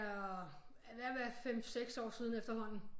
Er ved at være 5 6 år siden efterhånden